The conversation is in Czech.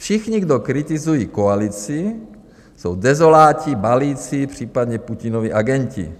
Všichni, kdo kritizují koalici, jsou dezoláti, balíci, případně Putinovi agenti."